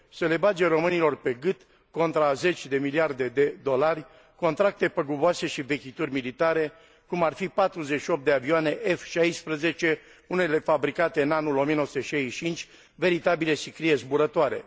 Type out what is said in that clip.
să le bage românilor pe gât, contra a zeci de miliarde de dolari, contracte păguboase și vechituri militare, cum ar fi 48 de avioane F16, unele fabricate în anul 1965, veritabile sicrie zburătoare